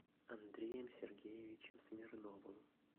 андреем сергеевичем смирновым